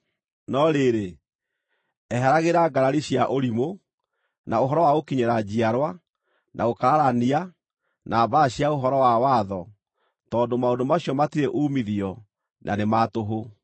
No rĩrĩ, eheragĩra ngarari cia ũrimũ, na ũhoro wa gũkinyĩra njiarwa, na gũkararania, na mbaara cia ũhoro wa watho, tondũ maũndũ macio matirĩ uumithio, na nĩ ma tũhũ.